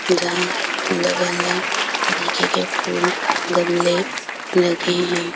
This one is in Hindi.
जहाँ अलग-अलग तरीके के फूल गमले लगे हैं।